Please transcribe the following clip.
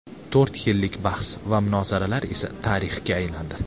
To‘rt yillik bahs va munozaralar esa tarixga aylandi.